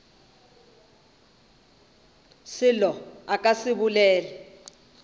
selo a ka se bolele